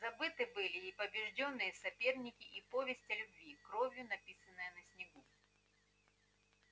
забыты были и побеждённые соперники и повесть о любви кровью написанная на снегу